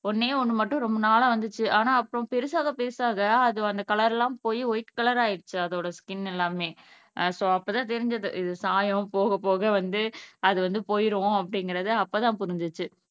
ஒன்னே ஒன்னு மட்டும் ரொம்ப நாளா வந்துச்சு ஆனா அப்புறம் பெருசாக பெருசாக அது அந்த கலர் எல்லாம் போயி ஒயிட் கலர் ஆகிருச்சு அதோட ஸ்கின் எல்லாமே. சோ, அப்போ தான் தெரிஞ்சிது இது சாயம், போகபோக வந்து அது வந்து போயிரும் அப்படிங்கிறது அப்ப தான் புரிஞ்சிச்சு